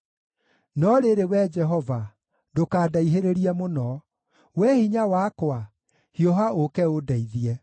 No rĩrĩ, Wee Jehova, ndũkandaihĩrĩrie mũno; Wee Hinya wakwa, hiũha ũũke ũndeithie.